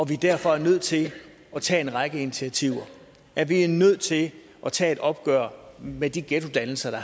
vi derfor er nødt til at tage en række initiativer at vi er nødt til at tage et opgør med de ghettodannelser